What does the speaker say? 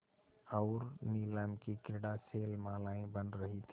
और नीलम की क्रीड़ा शैलमालाएँ बन रही थीं